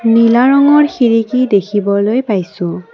নীলা ৰঙৰ খিৰিকী দেখিবলৈ পাইছোঁ।